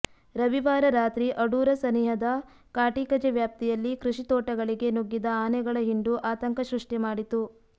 ರವಿವಾರ ರಾತ್ರಿ ಅಡೂರು ಸನಿಹದ ಕಾಟಿಕಜೆ ವ್ಯಾಪ್ತಿಯಲ್ಲಿ ಕೃಷಿ ತೋಟಗಳಿಗೆ ನುಗ್ಗಿದ ಆನೆಗಳ ಹಿಂಡು ಆತಂಕ ಸೃಷ್ಟಿ ಮಾಡಿತು